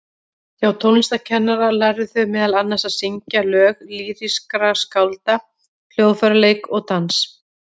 Hjá tónlistarkennara lærðu þau meðal annars að syngja lög lýrískra skálda, hljóðfæraleik og dans.